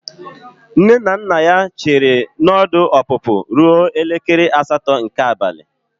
Nne na nna ya chere na ọdụ ọpụpụ ruo elekere asatọ nke abalị.